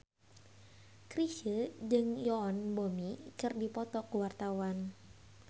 Chrisye jeung Yoon Bomi keur dipoto ku wartawan